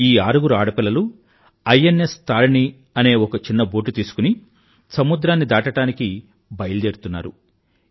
ఈ ఆరుగురు ఆడపిల్లలూ ఐఎన్ఎస్ తారిణి తరిని అనే ఒక చిన్న బోటు తీసుకుని సముద్రాన్ని దాటడానికి బయల్దేరుతున్నారు